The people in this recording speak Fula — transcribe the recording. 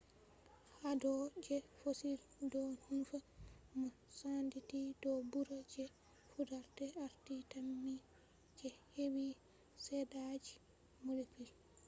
hado je fossil do nufa mo senditi do bura je fudarde arti tammi je hebi shaidaji molecule